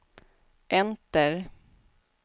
enter